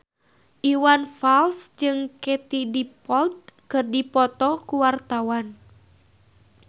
Iwan Fals jeung Katie Dippold keur dipoto ku wartawan